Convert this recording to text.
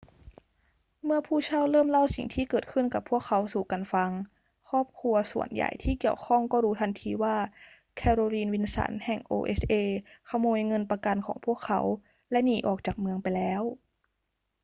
เมื่อผู้เช่าเริ่มเล่าสิ่งที่เกิดขึ้นกับพวกเขาสู่กันฟัง ครอบครัวส่วนใหญ่ที่เกี่ยวข้องก็รู้ทันทีว่า แคโรลีน วิลสัน แห่ง oha ขโมยเงินประกันของพวกเขาและหนีออกจากเมืองไปแล้ว